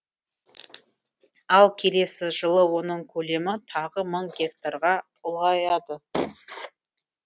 ал келесі жылы оның көлемі тағы мың гектарға ұлғаяды